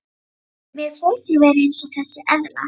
Mér finnst ég vera eins og þessi eðla.